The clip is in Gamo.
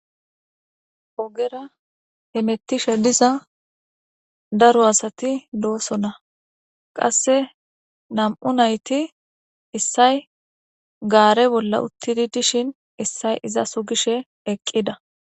ogera hemettishe diza daro asati doosona qasse nam7u nayti issay gaare bolla uttidi dishin issay iza sugishe eqqida